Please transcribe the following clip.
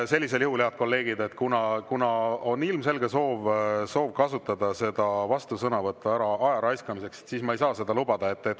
Ei, head kolleegid, kuna on ilmselge soov kasutada seda vastusõnavõttu ajaraiskamiseks, siis ma ei saa seda lubada.